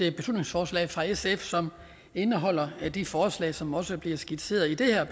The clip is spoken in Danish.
et beslutningsforslag fra sf som indeholder de forslag som også bliver skitseret i det her